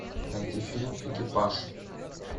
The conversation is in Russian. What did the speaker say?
найти фильм экипаж